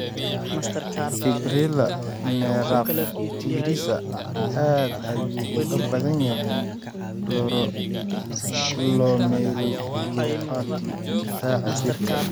Fibrila neraphritisa aad ayuu uga badan yahay glomerulopathy difaaca jirka.